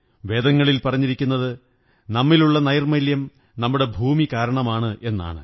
വേദങ്ങളിൽ പറഞ്ഞിരിക്കുന്നത് നമ്മിലുള്ള നൈര്മ്മഃല്യം നമ്മുടെ ഭൂമി കാരണമാണെന്നാണ്